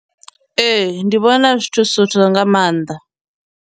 Ee, ndi vhona zwi tshi nga maanḓa.